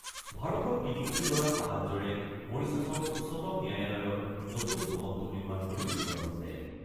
ভাৰতৰ ৩ কোটি ডলাৰ সাহায্যৰে মৰিছাছৰ উচ্চতম ন্যায়ালয়ৰ নতুন ভৱনটো নিৰ্মাণ কৰি উলিওৱা হৈছে।